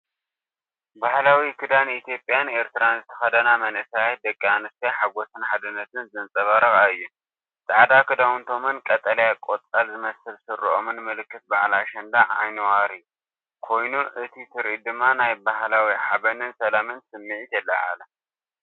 ባህላዊ ክዳን ኢትዮጵያን ኤርትራን ዝተኸድና መንእሰያት ደቂ ኣንስትዮ ሓጎስን ሓድነትን ዘንጸባርቓ እየን። ጻዕዳ ክዳውንቶምን ቀጠልያ ቆጽሊ ዝመስል ስረኦምን ምልክት በዓል ኣሸንዳ/ዓይኒዋሪ ኮይኑ እቲ ትርኢት ድማ ናይ ባህላዊ ሓበንን ሰላምን ስምዒት የለዓዕል።